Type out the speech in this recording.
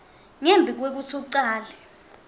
ngembi kwekutsi ucale